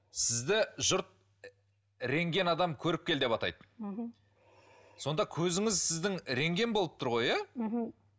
сізді жұрт рентген адам көріпкел деп атайды мхм сонда көзіңіз сіздің рентген болып тұр ғой иә мхм